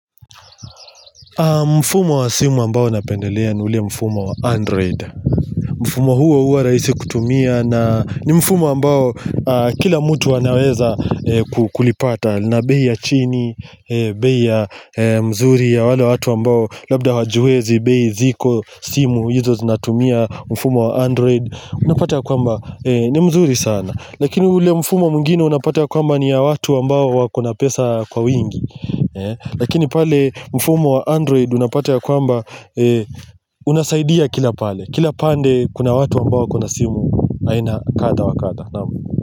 Mfumo wa simu ambao napendelea ni ule mfumo wa android mfumo huo uwa rahisi kutumia na ni mfumo ambao kila mtu wanaweza kulipata na bei ya chini, bei ya mzuri ya wale watu ambao labda wajuezi, bei ziko simu hizo zinatumia mfumo wa android Unapata ya kwamba ni mzuri sana Lakini ule mfumo mwingine unapata ya kwamba ni ya watu ambao wakona pesa kwa wingi Lakini pale mfumo wa android unapata ya kwamba unasaidia kila pale Kila pande kuna watu ambawa kuna simu aina kadha wa kadha.